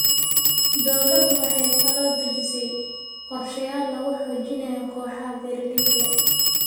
Dawladdu waxay kaloo dejisay qorshayaal lagu xoojinayo kooxaha beeralayda.